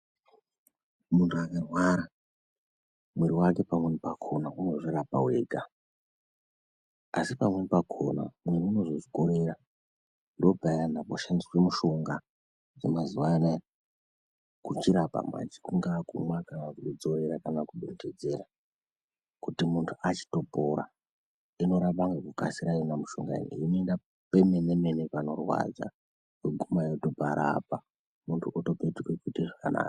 Muntu angarwaaka mwiri wake pamweni pakhona unozvirapa wega asi pamweni pakhona. Asi pamweni pakhona mwiri unozozvikhorera. Ndopayana panoshandiswa mushonga dzemazuwa anaya kuchirapa manji, kungawa kumwa, kudzorera kana kudhonhedzera kuti achingopora. Inorapa ngekukasira yona mishonga ineyi inoenda pemen mene panorwadza yoguma yotoparapa muntu otopetuka kuita zvakanaka.